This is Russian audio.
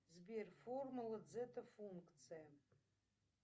сбер формула дзета функция